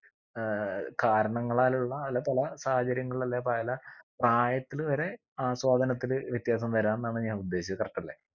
ഏർ കാരണങ്ങളാലുള്ള അല്ലെ പല സാഹചര്യങ്ങൾ അല്ലെ പല പ്രായത്തില് വരെ ആസ്വാദനത്തില് വ്യത്യാസം വരാംന്നാണ് ഞാൻ ഉദ്ദേശിച്ചത് correct അല്ല